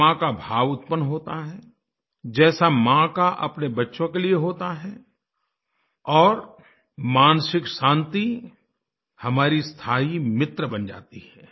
क्षमा का भाव उत्पन्न होता है जैसा माँ का अपने बच्चों के लिए होता है और मानसिक शांति हमारी स्थायी मित्र बन जाती है